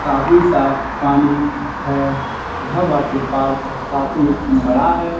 काफी साफ पानी है यह वाटर पार्क काफी बड़ा है।